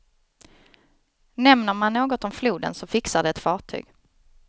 Nämner man något om floden så fixar de ett fartyg.